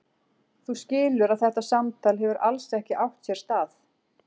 Þú skilur að þetta samtal hefur alls ekki átt sér stað?